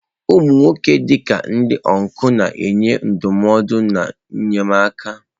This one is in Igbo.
Ụmụ nwoke, dị ka ndị ọncụl, na-enye ndụmọdụ na enyemaka.